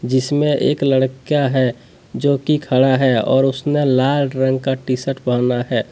जिसमें एक लड़का है जो कि खड़ा है और उसने लाल रंग का टी शर्ट पहना है।